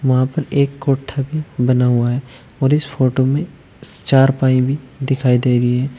वहां पर एक कोठा भी बना हुआ है और इस फोटो में चारपाई भी दिखाई दे रही है।